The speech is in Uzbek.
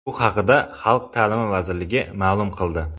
Bu haqda Xalq ta’limi vazirligi ma’lum qildi .